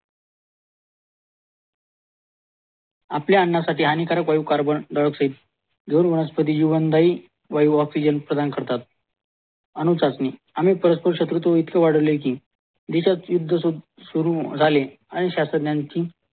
आपल्या अन्नसाठी हानिकारक वायू कार्बनडाइआकसाईड वनस्पती जीवनदाई वायू आक्सिजन प्रदान करतात अणु चाचणी आम्ही परस्पर शत्रू इतके वाढले कि भितर युद्ध सुरू झाले आणि शास्त्रज्ञानंची